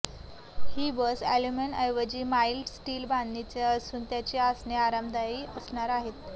ही bus अॅल्युमिनियमऐवजी mild steel बांधणीचे असून त्याची आसने आरामदायी असणार आहेत